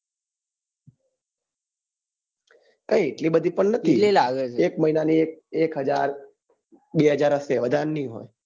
કઈ એટલી બધી પણ નથી એક મહિના ની એક હજાર બે હજાર હશે વધારે નહિ હોય